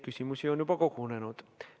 Küsimusi on juba kogunenud.